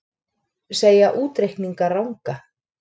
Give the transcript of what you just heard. Segja útreikninga ranga